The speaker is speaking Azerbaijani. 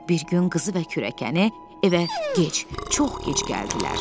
Bir gün qızı və kürəkəni evə gec, çox gec gəldilər.